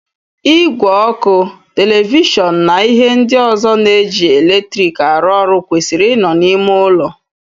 Ìgwè oku eletrik, televishọọnụ na ihe ndị ọzọ na-eji eletrik arụ ọrụ kwesịrị ị nọ n'ime ụlọ.